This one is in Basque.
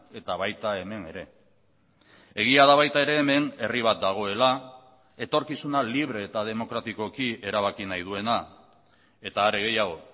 eta baita hemen ere egia da baita ere hemen herri bat dagoela etorkizuna libre eta demokratikoki erabaki nahi duena eta are gehiago